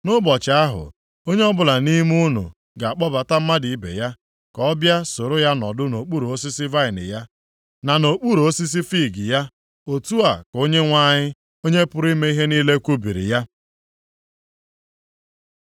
“ ‘Nʼụbọchị ahụ, onye ọbụla nʼime unu ga-akpọbata mmadụ ibe ya, ka ọ bịa soro ya nọdụ nʼokpuru osisi vaịnị ya, na nʼokpuru osisi fiig ya.’ Otu a ka Onyenwe anyị, Onye pụrụ ime ihe niile kwubiri ya.”